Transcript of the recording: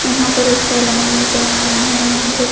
यहाँ पर एक सेलॉन नजर आ रहा है यहाँ पे--